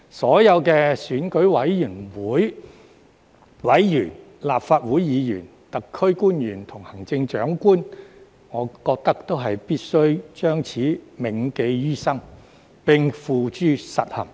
所有選委會委員、立法會議員、特區官員及行政長官，我覺得都必須將此銘記於心，並付諸實行。